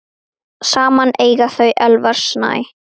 Saman eiga þau Elvar Snæ.